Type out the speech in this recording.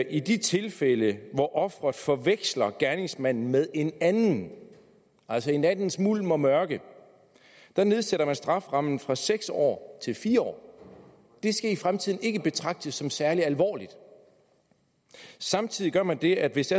i de tilfælde hvor offeret forveksler gerningsmanden med en anden altså i nattens mulm og mørke nedsætter man strafferammen fra seks år til fire år det skal i fremtiden ikke betragtes som særlig alvorligt samtidig gør man det at hvis